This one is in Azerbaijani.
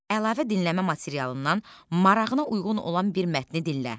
Əlavə dinləmə materialından marağına uyğun olan bir mətni dinlə.